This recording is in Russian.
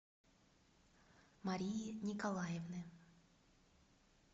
марии николаевны